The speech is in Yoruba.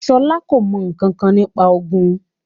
Ṣọlá kò mọ̀ ǹkankan nípa òògùn